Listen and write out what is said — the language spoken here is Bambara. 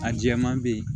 A jɛman be ye